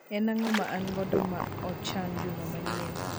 En ang'o ma an godo ma ochan juma manyien